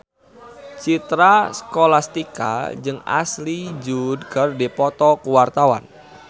Citra Scholastika jeung Ashley Judd keur dipoto ku wartawan